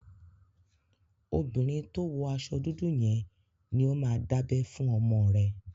Obìnrin tó wọ aṣọ dúdú yẹn ni ó máa dábẹ fún ọmọ rẹ.